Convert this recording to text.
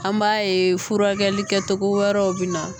An b'a ye furakɛli kɛ togo wɛrɛw bɛ na.